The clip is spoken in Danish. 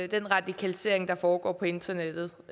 den radikalisering der foregår på internettet